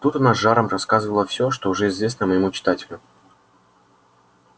тут она с жаром рассказала все что уже известно моему читателю